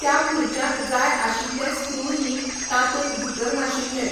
त्या खुर्च्याक जाय आशिल्ले स्क्रू न्ही तातूंत भितर नाशिल्ले.